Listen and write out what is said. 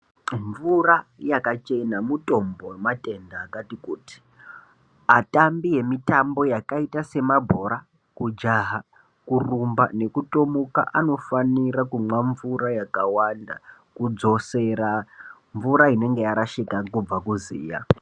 Mvura yakachena mutombo wematenda akati kuti. Atambi emitambo yakaita semabhora kujaha , kurumba nekutomuka anofanira kumwa mvura yakawanda kudzosera mvura inonga yarashika kubva kuziya.